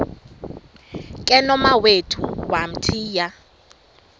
ke nomawethu wamthiya